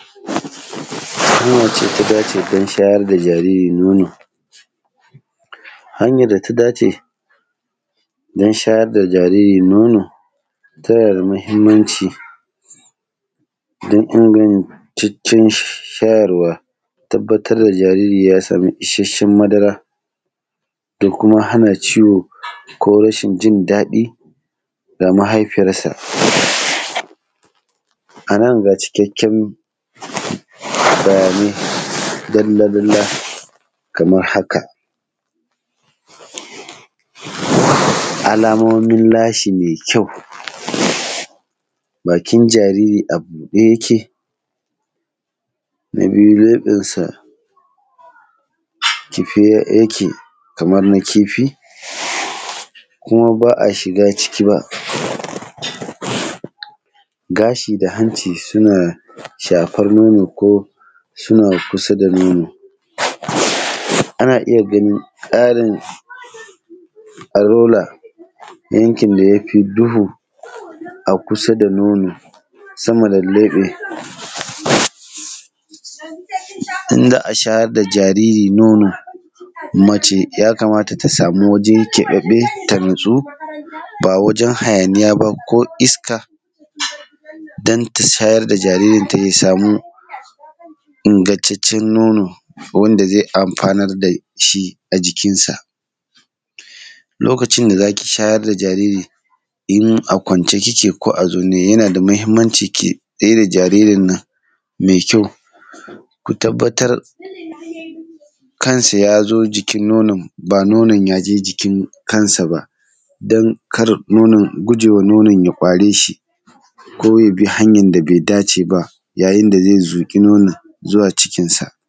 Hanyar da ta dace don shayar da jariri nono. Hanyar da ta dace, don shayar da jariri nono, tana da muhimmanci, don in gani… cikin shayarwa, tabbatar da jariri ya samu isasshen madara, da kuma hana ciwo ko rashin jin daɗi da mahaifiyarsa. A nan ga cikakken bayanai dalla-dalla kamar haka: Alamomin lashi mai kyau. Bakin jariri a buɗe yake? Na biyu, leɓensa kife yake kamar na kifi? Kuma ba a shiga ciki ba? Gashi da hanci suna shafar nono ko suna kusa da nono? Ana iya ganin tsarin arola yankin da ya fi duhu a kusa da nono, sama da leɓe. In za a shayar da jariri nono, mace ya kamata ta samu waje keɓaɓɓe ta natsu, ba wajen hayaniya ba, ko iska, don ta shayar da jaririnta ya samu ingantaccen nono wanda zai amfanar da shi a jikinsa. Lokacin da za ki shayar da jariri, in a kwance kike ko a zaune, yana da muhimmanci ki tsai da jaririn nan, mai kyau, ku tabbatar, kansa ya zo jikin nonon, ba nonon ya je jikin kansa ba, don kar nonon, guje wa nonon ya ƙware shi, ko ya bi hanyar da bai dace ba yayin da ya zuƙi nonon zuwa cikinsa.